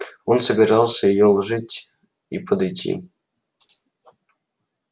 он собирался её уложить и подойти